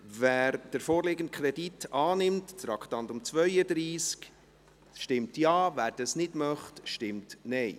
Wer den vorliegenden Kredit, Traktandum 32, annimmt, stimmt Ja, wer das nicht möchte, stimmt Nein.